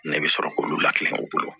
Ne bɛ sɔrɔ k'olu lakileŋ'o bolo